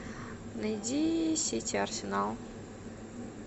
найди сити арсенал